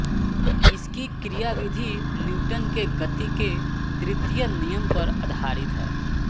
इसकी क्रियाविधि न्यूटन के गति के तृतीय नियम पर आधारित है